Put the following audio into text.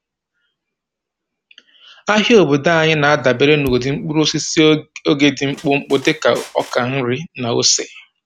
Ahịa obodo anyị na-adabere na ụdị mkpụrụosisi oge dị mkpụmkpụ dịka ọka nri na ose.